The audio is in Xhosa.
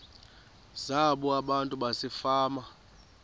zabo abantu basefama